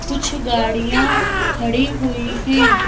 कुछ गाड़ियां खड़ी हुई हैं।